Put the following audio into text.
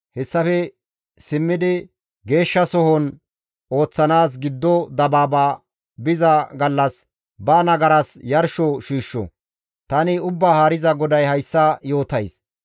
Hessafe simmidi Geeshshasohon ooththanaas giddo dabaaba biza gallas, ba nagaras yarsho shiishsho. Tani Ubbaa Haariza GODAY hayssa yootays.